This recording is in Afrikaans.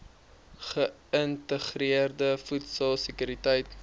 geïntegreerde voedsel sekuriteit